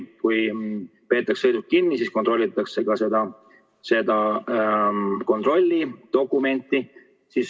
Kui peetakse sõiduk kinni, siis kontrollitakse ka seda kontrollidokumenti.